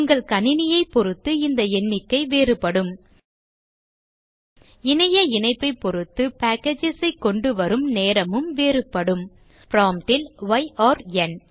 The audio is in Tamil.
உங்கள் கணினியைப் பொருத்து இந்த எண்ணிக்கை வேறுபடும் இணைய இணைப்பை பொருத்து packages ஐ கொண்டுவரும் நேரமும் வேறுபடும் prompt ல் ய் ஆர்ன்